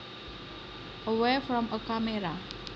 away from a camera